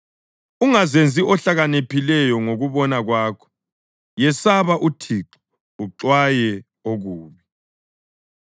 Ungazenzi ohlakaniphileyo ngokubona kwakho; yesaba uThixo uxwaye okubi.